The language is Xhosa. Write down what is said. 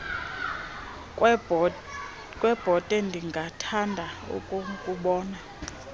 kwebhote ndingathanda ukukubona